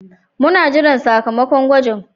Muna jiran sakamakon gwajin.